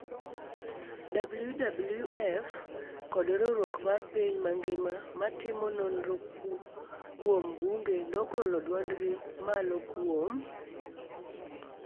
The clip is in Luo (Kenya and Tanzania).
WWF kod riwruok mar piny mangima ma timo nonro kuom bunge nogolo dwondgi malo kuom